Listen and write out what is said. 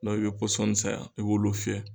i bɛ pɔsɔn san i b'olu fiyɛ